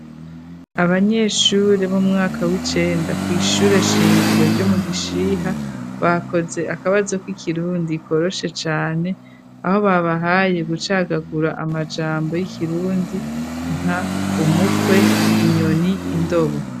Abanyeshure b'umwaka w'icenda kwishure shingiro ryo mu Gishiha bakoze akabazo k'ikirundi koroshe cane aho babahaye gucagagura amajambo y'ikirundi nka umukwe inyoni indobo.